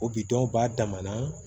O bi don ba dama na